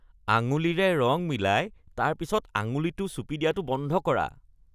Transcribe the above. আঙুলিৰে ৰং মিলাই তাৰপিছত আঙুলিটো চুপি দিয়াটো বন্ধ কৰা।